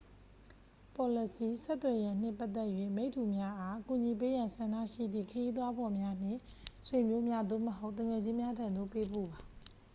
ပေါ်လစီ/ဆက်သွယ်ရန်နှင့်ပတ်သက်၍ မိတ္တူများအား ကူညီပေးရန်ဆန္ဒရှိသည့် ခရီးသွားဖော်များ နှင့် ဆွေမျိုးများ သို့မဟုတ် သူငယ်ချင်းများထံသို့ ပေးပို့ပါ။